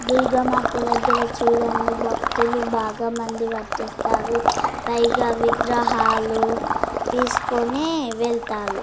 దుర్గామాత దగ్గర చుడండి భక్తులు బాగా మంది వచ్చేస్తారు. పైగా విగ్రహాలు తీసుకుని వెళ్తాలు.